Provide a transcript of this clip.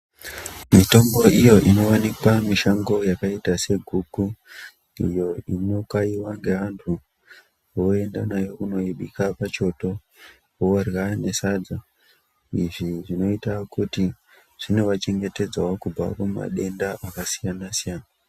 Mitombo iyo inooneka mushango yakaita seguku iyo inokaiwa ngeantu voenda nayo kunoibika pachoto vorya nesadza. Izvi zvinoite kuti zvinovachengetedzawo kubva kumatenda akasiyana siyana.